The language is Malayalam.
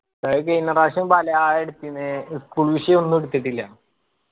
അത് കയിഞ്ഞ പ്രാവശ്യം പലയാൾ എടുത്തിന് school വിഷയോന്നു എടുത്തിട്ടില്ല